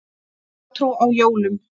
Hjátrú á jólum.